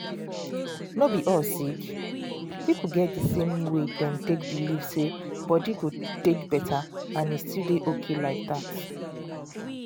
no be all sick people get the same way dem take believe say body go take better and e still dey okay like that.